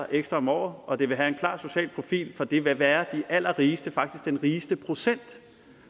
ekstra om året og det vil have en klar social profil for det vil være de allerrigeste faktisk den rigeste procent